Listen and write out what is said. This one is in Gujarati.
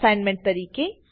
અસાઇનમેન્ટ તરીકે